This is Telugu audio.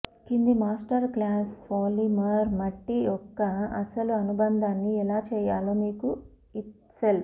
కింది మాస్టర్ క్లాస్ పాలిమర్ మట్టి యొక్క అసలు అనుబంధాన్ని ఎలా చేయాలో మీకు ఇత్సెల్ఫ్